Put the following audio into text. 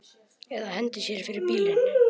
Eða hendi sér fyrir bíl.